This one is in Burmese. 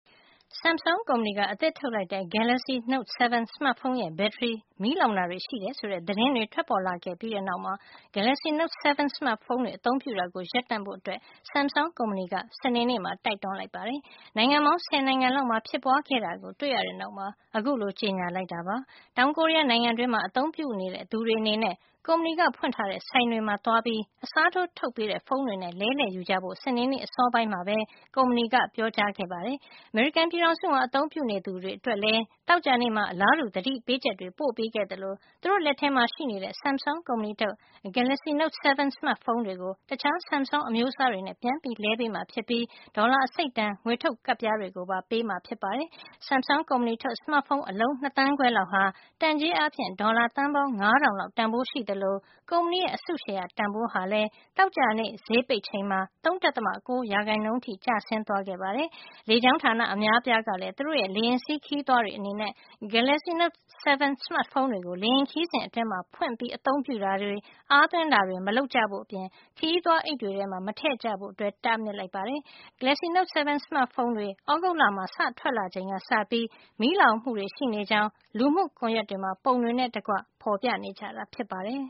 Samsung ကုမ္ပဏီက အသစ်ထုတ်လိုက်တဲ့ Galaxy Note 7 စမတ်ဖုန်းရဲ့ ဘက်ထရီ မီးလောင်တာ တွေ ရှိတယ်ဆိုတဲ့ သတင်းတွေ ထွက်ပေါ်လာခဲ့ပြီး တဲ့နောက်မှာ Galaxy Note 7 စမတ်ဖုန်းတွေ အသုံးပြုတာကို ရပ်တန့်ဖို့ Samsung ကုမ္ပဏီက စနေနေ့မှာ တိုက်တွန်းလိုက် ပါတယ်။ နိုင်ငံပေါင်း ဆယ်နိုင်ငံလောက်မှာ ဖြစ်ပွါးခဲ့တာကို တွေ့ရတဲ့ နောက်မှာ အခု လို ကျေညာလိုက်တာ ဖြစ်ပါတယ်။ တောင်ကိုရီးယားနိုင်ငံတွင်းမှာ အသုံးပြုနေ တဲ့သူတွေအနေနဲ့ ကုမ္ပဏီက ဖွင့်ထားတဲ့ ဆိုင်တွေမှာသွားပြီး အစားထိုး ထုတ်ပေး တဲ့ ဖုန်းတွေနဲ့ လဲလှယ်ယူကြဖို့ စနေနေ့ အစောပိုင်းမှာပဲ ကုမ္ပဏီ က ပြောကြား ခဲ့ပါတယ်။ အမေရိကန်ပြည်ထောင်စုမှာ အသုံးပြုနေသူတွေအတွက်လည်း သောကြာနေ့မှာ အလားတူ သတိပေးချက်တွေ ပို့ပေးခဲ့သလို သူတို့ လက်ထဲမှာ ရှိနေတဲ့ Samsung ကုမ္ပဏီထုတ် Galaxy Note 7 စမတ်ဖုန်းတွေကို အခြား Samsung အမျိုးစားတွေ နဲ့ ပြန်လဲပေးမှာဖြစ်ပြီး ဒေါ်လာ အစိတ်တန် ငွေထုတ် ကပ်ပြားတွေ ပါပေး မှာ ဖြစ်ပါတယ်။ ဒီ Samsung ကုမ္ပဏီထုတ် စမတ်ဖုံး အလုံး ၂ သန်းခွဲ လောက်ဟာ တန်ကြေး အားဖြင့် ဒေါ်လာ သန်းပေါင်း ၅ ထောင်လောက် တန်ဖိုးရှိသလို ကုမ္ပဏီရဲ့ အစုရှယ်ယာတန်ဖိုး ဟာလည်း သောကြာနေ့ဈေးပိတ်ချိန်မှာ ၃.၉ ရာခိုင်နှုံး အထိ ကျသွားခဲ့ပါတယ်။ လေကြောင်းဌာန အများအပြားကလည်း သူတို့ရဲ့ လေယာဉ်စီးခရီးသည်တွေအနေနဲ့ Galaxy Note 7 စမတ်ဖုန်းတွေကို လေယာဉ်ခရီးစဉ် အတွင်းမှာ ဖွင့်ပြီး အ သုံးပြုတာတွေ၊ အားသွင်းတာတွေ မလုပ်ကြဖို့အပြင်၊ ခရီးသွားအိတ်တွေထဲမှာ မထည့်ကြဖို့လည်း တားမြစ်လိုက်ပါတယ်။ Galaxy Note 7 စမတ်ဖုန်းတွေ သြဂုတ်လမှာ စထွက်လာချိန်ကစပြီး မီးလောင် တာတွေရှိနေကြောင်း လူမှုကွန်ယက်တွေမှာ ပုံတွေနဲ့ တကွ ဖေါ်ပြနေ ကြတာ ဖြစ်ပါတယ်